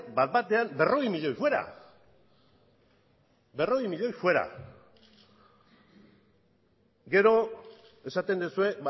bat batean berrogei milioi fuera gero esaten duzue